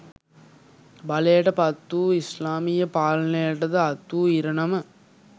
බලයට පත් වූ ඉස්ලාමීය පාලනයටද අත් වූ ඉරණම